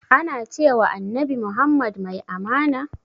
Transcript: Ana cewa annabi muhammad mai amana?